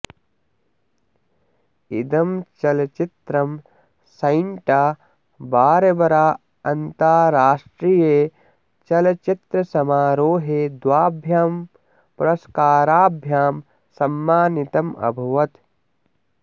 इदं चलच्चित्रं Santa Barbara अन्ताराष्ट्रिये चलच्चित्रसमारोहे द्वाभ्यां पुरस्काराभ्यां सम्मानितम् अभवत्